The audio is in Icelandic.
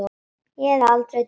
Ég hefði aldrei trúað því.